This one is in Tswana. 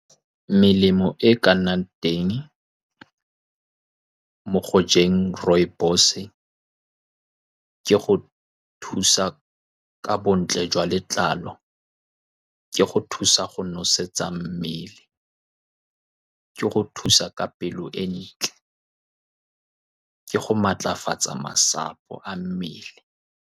Melemo e e ka nnang teng mo go jeng rooibos-e, ke go thusa ka bontle jwa letlalo, ke go thusa go nosetsa mmele, ke go thusa ka pelo e ntle, ke go maatlafatsa marapo a mmele.